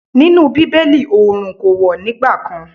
Nínú Bíbélì oòrùn kò wọ̀ nígbà kan.